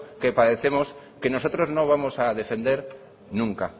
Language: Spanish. que padecemos que nosotros no vamos a defender nunca